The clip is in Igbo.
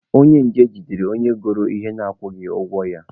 Onye nje jidere onye goro ahịa na-akwụghị ụgwọ ya.